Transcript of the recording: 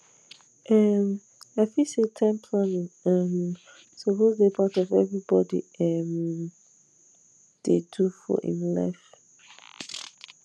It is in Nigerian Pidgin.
um i feel say time planning um suppose dey part of everybody um dey do for him life